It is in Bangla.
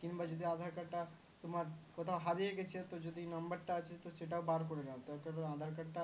কিংবা যদি aadhar card টা তোমার কোথায় হারিয়ে গেছে তো যদি number টা আছে সেটাও বার করে নাও তার কারণ aadhar card টা